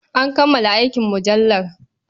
An kammala aikin mujallar.